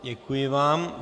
Děkuji vám.